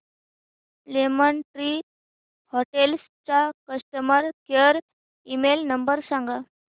lemon Tree Hotels चा customer care email number सांगा